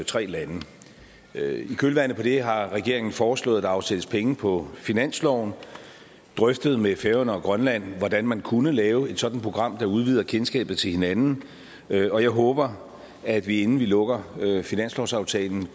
tre lande i kølvandet på det har regeringen foreslået at der afsættes penge på finansloven har drøftet med færøerne og grønland hvordan man kunne lave et sådant program der udvider kendskabet til hinanden og jeg håber at vi inden vi lukker finanslovsaftalen